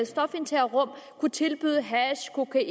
stofindtagerrum kunne tilbyde hash kokain